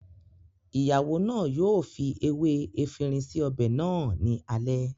ìyàwó náà yóò fi ewé efinrin sí ọbẹ̀ náà ní alẹ́